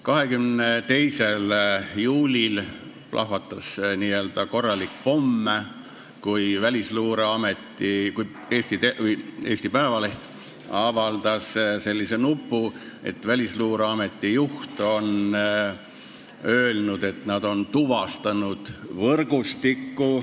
22. juulil plahvatas n-ö korralik pomm, kui Eesti Päevaleht avaldas sellise nupu, et Välisluureameti juht on öelnud, et nad on tuvastanud võrgustiku.